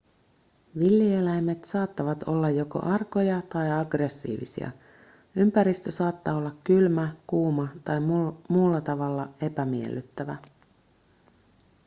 villieläimet saattavat olla joko arkoja tai aggressiivisia ympäristö saattaa olla kylmä kuuma tai muulla tavalla epämiellyttävä